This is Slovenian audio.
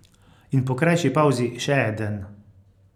In po krajši pavzi še eden.